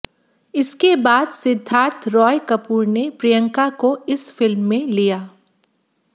इसके बाद सिद्धार्थ रॉय कपूर ने प्रियंका को इस फिल्म में लिया